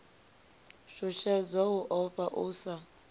shushedzwa u ofha u sa